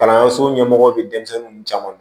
Kalanso ɲɛmɔgɔ bɛ denmisɛnninw caman